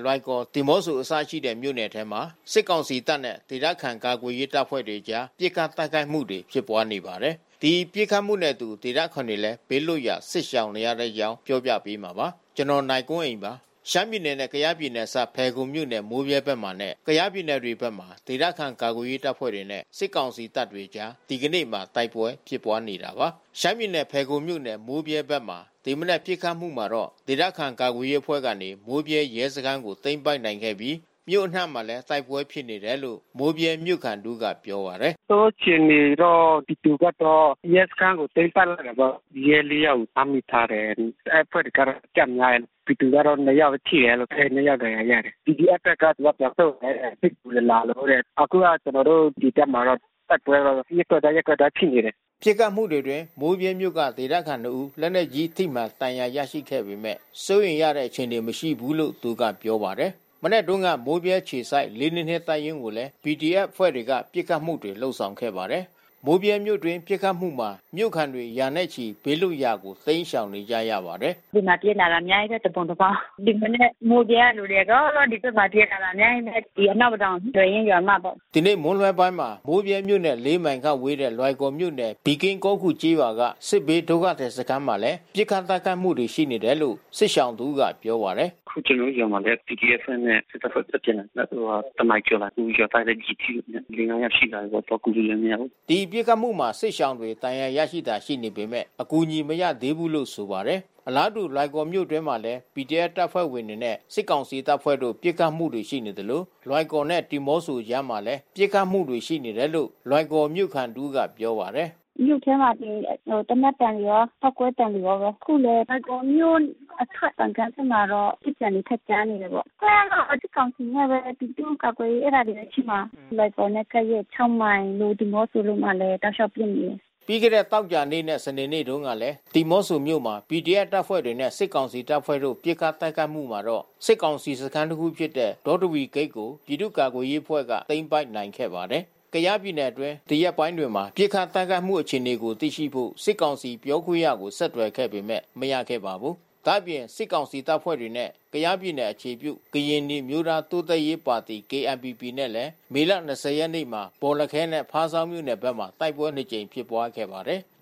လွိုင်ကော်၊ ဒီမော့ဆို အစရှိတဲ့ မြို့နယ်ထဲမှာ စစ်ကောင်စီတပ်နဲ့ ဒေသခံ ကာကွယ်ရေးတပ်ဖွဲ့တွေအကြား ပစ်ခတ်တိုက်ခိုက်မှုတွေ ဖြစ်ပွားနေပါတယ်။ ဒီပစ်ခတ်မှုနဲ့အတူ ဒေသခံတွေလည်း ဘေးလွတ်ရာ စစ်ရှောင်နေကြရပါတယ်။ အပြည့်အစုံကို နိုင်ကွန်းအိန် တင်ပြပေးထားပါတယ်။ ရှမ်းပြည်နယ်နဲ့ ကယားပြည်နယ် အစပ်မှာရှိတဲ့ မိုးဗြဲမြို့နယ်နဲ့ ကယားပြည်နယ် လွိုင်ကော်၊ ဒီမော့ဆိုမြို့နယ်တွေမှာ ဒေသခံ ကာကွယ်ရေးအဖွဲ့တွေနဲ့ စစ်ကောင်စီတပ်တွေအကြား ဒီကနေ့မှာ တိုက်ပွဲဖြစ်ပွားနေတာပါ။ ဖယ်ခုံမြို့နယ် မိုးဗြဲဘက်မှာ ဒီမနက် ပစ်ခတ်မှုမှာ ဒေသခံ ကာကွယ်ရေးအဖွဲ့ကနေ မိုးဗြဲရဲစခန်းကို သိမ်းပိုက်နိုင်ခဲ့ပြီး မြို့အနှံ့မှာလည်း တိုက်ပွဲဖြစ်နေတယ်လို့ မိုးဗြဲမြို့ခံတဦးက ပြောပါတယ်။ “နောက်ဆုံးအခြေအနေတော့ ပြည်သူဘက်တော့ ရဲစခန်းကို သိမ်းပိုက်လိုက်တယ်ပေါ့။ ရဲ ၄ ယောက်ကို ဖမ်းမိထားတယ်။ အဲဒီအဖွဲ့တွေကတော့ အကျများတယ်။ ပြည်သူဘက်ကတော့ ၂ ယောက်ထိတယ်။ ၂ ယောက်ဒဏ်ရာရတယ်။ PDF ဘက်က သူက ပြန်ဆုတ်တယ်။ စစ်ကူတွေလာလို့တဲ့။ အခုက ကျနော်တို့ ဒီဘက်မှာတော့ တိုက်ပွဲကတော့ ရပ်ကွက်တိုင်း ရပ်ကွက်တိုင်း ဖြစ်နေတယ်။” ပစ်ခတ်မှုတွေအတွင်း မိုးဗြဲမြို့က ဒေသခံ ၂ ဦး လက်နက်ကြီးထိမှန် ဒဏ်ရာရခဲ့ပေမယ့် စိုးရိမ်ရတဲ့ အခြေအနေ မရှိဘူးလို့ သူကပြောပါတယ်။ မနက်တုန်းက မိုးဗြဲအခြေစိုက် ၄၂၂ တပ်ရင်းကိုလည်း PDF အဖွဲ့တွေကနေ ပစ်ခတ်မှုတွေ လုပ်ဆောင်ခဲ့ပါတယ်။ မိုးဗြဲမြို့တွင်းပစ်ခတ်မှုမှာ မြို့ခံတွေ ရာနဲ့ချီ ဘေးလွတ်ရာကို တိမ်းရှောင်နေကြရပါတယ်။ “ဒီမှာ ပြေးလာတာ အများကြီးပဲ။ တပုံတပါး။ ဒီမနက် မြို့ထဲကလူတွေ အကုန်လုံး ဒီဘက်မှာ ပြေးလာတာ အများကြီးပဲ။ ဒီ အနောက်ပဒေါင် သယ်ရင်းရွာမဘက်။” ဒီနေ့မွန်းလွဲပိုင်းမှာ မိုးဗြဲမြို့နဲ့ ၄ မိုင်ခန့်ဝေးတဲ့ လွိုင်ကော်မြို့နယ် ပီကင်းကောခူကျေးရွာက စစ်ဘေးဒုက္ခသည် စခန်းမှာလည်း ပစ်ခတ်တိုက်ခိုက်မှုတွေ ရှိနေတယ်လို့ စစ်ရှောင်တဦးက ပြောပါတယ်။ “အခု ကျနော်တို့ကျေးရွာမှာလည်း PDF အဖွဲ့နဲ့ စစ်တပ်အဖွဲ့ ဆက်ပစ်နေတယ်။ တနာရီကျော်မှာ။ အခု ရွာသားတွေလည်း ကျည်ထိတာ လေးငါးယောက်ရှိလာပြီပေါ့။ သွားကူလို့လည်း မရဘူး။” ဒီပစ်ခတ်မှုမှာ စစ်ရှောင်တွေ ဒဏ်ရာရတာတွေ ရှိနေပေမယ့် အကူအညီ မရရှိသေးဘူးလို့ ဆိုပါတယ်။ အလားတူ လွိုင်ကော်မြို့အတွင်းမှာလည်း PDF တပ်ဖွဲ့တွေနဲ့ စစ်ကောင်စီတပ်ဖွဲ့တို့ ပစ်ခတ်မှုတွေ ရှိနေသလို လွိုင်ကော်နဲ့ ဒီမော့ဆိုအကြားမှာလည်း ပစ်ခတ်မှုတွေ ရှိနေတယ်လို့ လွိုင်ကော်မြို့ခံတဦးက ပြောပါတယ်။ “မြို့ထဲမှာဆိုရင် သေနတ်သံတွေရော ပေါက်ကွဲသံတွေရောပဲ။ အခု လွိုင်ကော်မြို့အထွက် ပန်ကန်း ဘက်မှာတော့ ပစ်သံတွေ ထပ်ကြားနေတယ်ပေါ့။ အဖွဲ့ကတော့ စစ်ကောင်စီနဲ့ ပြည်သူ့ကာကွယ်ရေး အဲဒါတွေပဲဖြစ်မှာ။ လွိုင်ကော်နဲ့ ကပ်ရက် ၆ မိုင် ဒီမော့ဆိုမှာလည်း တောက်လျှောက်ပစ်နေတယ်။” သောကြာနေ့နဲ့ စနေနေ့တုန်းကလည်း ဒီမော့ဆိုမြို့မှာ PDF တပ်ဖွဲ့တွေနဲ့ စစ်ကောင်စီတပ်ဖွဲ့တို့ ပစ်ခတ်တိုက်ခိုက်မှုမှာတော့ စစ်ကောင်စီစခန်းတခုဖြစ်တဲ့ ဒေါတဝီဂိတ်ကို ပြည်သူ့ကာကွယ်ရေးအဖွဲ့က သိမ်းပိုက်နိုင်ခဲ့ပါတယ်။ ကယားပြည်နယ်အတွင်း ဒီရက်ပိုင်းတွေမှာ ပစ်ခတ်တိုက်ခိုက်မှု အခြေအနေကို သိရှိဖို့ စစ်ကောင်စီပြောခွင့်ရကို ဆက်သွယ်ခဲ့ပေမယ့် မရခဲ့ပါဘူး။ ဒါ့အပြင် စစ်ကောင်စီတပ်ဖွဲ့နဲ့ ကယားပြည်နယ် အခြေပြု ကရင်နီအမျိုးသားတိုးတက်ရေးပါတီ နဲ့လည်း မေလ ၂၀ ရက်နေ့က ဘော်လခဲနဲ့ ဖားဆောင်းမြို့နယ်ဘက်မှာ တိုက်ပွဲနှစ်ကြိမ် ဖြစ်ပွားခဲ့ပါတယ်။